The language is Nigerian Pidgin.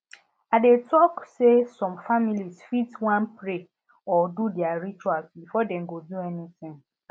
i dey talk say some families fit wan pray or do their rituals before dem go do anything